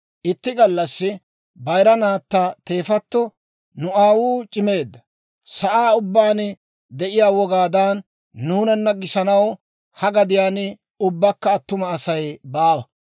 Itti gallassi bayira naatta teefatto, «Nu aawuu c'imeedda; sa'aa ubbaan de'iyaa wogaadan nuunana gisanaw ha gadiyaan ubbakka attuma Asay baawa.